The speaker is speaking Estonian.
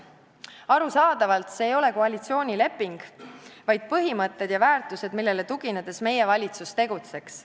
Arusaadavalt see ei ole koalitsioonileping, vaid põhimõtted ja väärtused, millele tuginedes meie valitsus tegutseks.